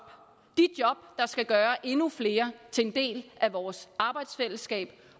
der skal gøre endnu flere til en del af vores arbejdsfællesskab